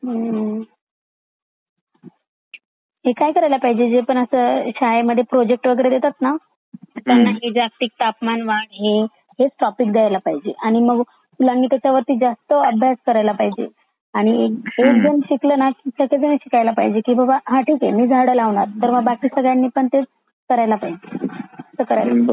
हं हं ते काय करायला पाहजे ते काय आहे ना आता शाळे मध्ये प्रोजेक्ट वैगेरे देतात ना त्याना हे जागतिक तापमान वाढ हे ते हेच टॉपिक दयायला पाहिजे आणि मग मुलांनी त्याचावर जस्त अभ्यास करायला पाहजे आणि हेच घेऊन शिकला ना कि त्याचा घेऊन कि बाबा मी झाड लवकर मग बाकी सगळयांनी पण ते करायला पाहजे